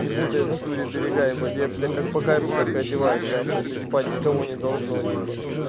не путает в натуре берега ебать я блядь как по кайфу так и одеваюсь нахуй это ебать никого не должно типа